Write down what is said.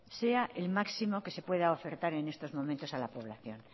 sea el máximo que se pueda ofertar en estos momentos a la población